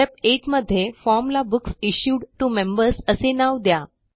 step 8 मध्ये form ला books issued to members असे नाव द्या